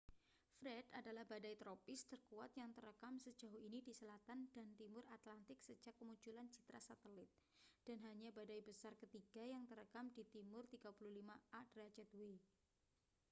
fred adalah badai tropis terkuat yang terekam sejauh ini di selatan dan timur atlantik sejak kemunculan citra satelit dan hanya badai besar ketiga yang terekam di timur 35â°w